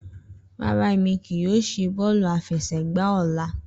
Rara, Emi kii yoo ṣe bọọlu afẹsẹgba ọla.